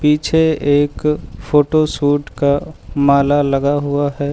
पीछे एक फोटोशूट का माला लगा हुआ है।